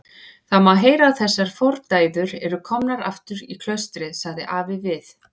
Það má heyra að þessar fordæður eru komnar aftur í klaustrið, sagði afi við